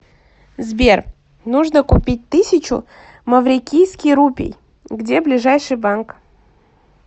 сбер нужно купить тысячу маврикийский рупий где ближайший банк